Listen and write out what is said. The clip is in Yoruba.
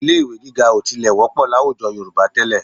Ilé-ì̀wé gíga ò tilẹ̀ wọ́pọ̀ láwùjọ Yorùbá tẹ́lẹ̀